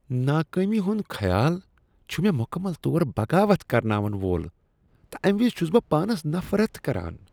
ناکٲمی ہند خیال چھ مےٚمکمل طور بغاوت کرناون وول تہٕ امہ وِز چھُس بہ پانس نفرت کران۔